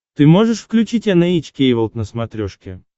ты можешь включить эн эйч кей волд на смотрешке